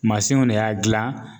Masiniw de y'a gilan